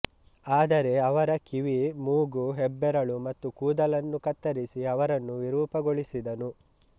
ಆದರೆ ಅವರ ಕಿವಿಮೂಗುಹೆಬ್ಬೆರಳು ಮತ್ತು ಕೂದಲನ್ನು ಕತ್ತರಿಸಿ ಅವರನ್ನು ವಿರೂಪಗೊಳಿಸಿದನು